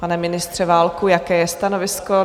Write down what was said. Pane ministře Válku, jaké je stanovisko?